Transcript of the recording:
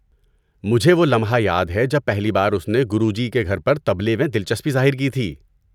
مجھے وہ لمحہ یاد ہے جب پہلی بار اس نے گروجی کے گھر پر طبلے میں دلچسپی ظاہر کی تھی۔